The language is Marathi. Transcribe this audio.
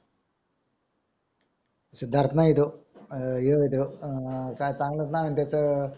सिद्धार्थ नाही तोच अं ह्या आहे तोह अं हो आहे तो काय चांगलच नाव आहेत त्याचा